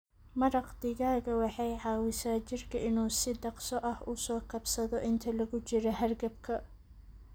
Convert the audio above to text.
Maraq digaaga waxay caawisaa jirka inuu si dhakhso ah u soo kabsado inta lagu jiro hargabka.